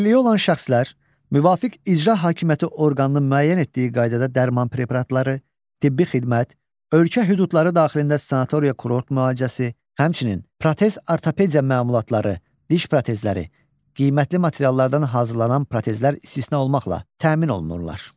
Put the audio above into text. Əlilliyi olan şəxslər, müvafiq icra hakimiyyəti orqanının müəyyən etdiyi qaydada dərman preparatları, tibbi xidmət, ölkə hüdudları daxilində sanatoriya-kurort müalicəsi, həmçinin protez-ortopediya məmulatları, diş protezləri (qiymətli materiallardan hazırlanan protezlər istisna olmaqla) ilə təmin olunurlar.